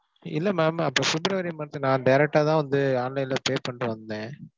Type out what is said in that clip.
இல்ல ma'am அப்பப் February month நான் direct ஆ தான் வந்து online ல pay பண்ணிட்டு வந்தேன்.